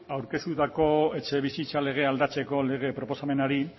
aurkeztutako etxebizitza legea aldatzeko lege proposamenari